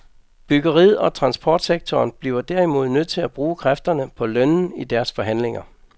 Byggeriet og transportsektoren bliver derimod nødt til at bruge kræfterne på lønnen i deres forhandlinger.